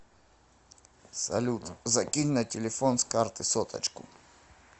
салют закинь на телефон с карты соточку